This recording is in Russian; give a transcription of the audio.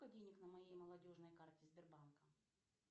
сколько денег на моей молодежной карте сбербанка